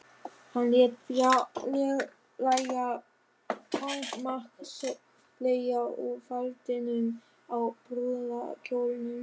Hann lét fjarlægja fangamark Sóleyjar úr faldinum á brúðarkjólnum.